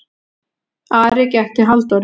Ari gekk til Halldóru.